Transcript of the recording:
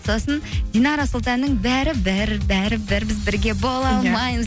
сосын динара сұлтанның бәрі бәрі бәрі біз бірге бола алмаймыз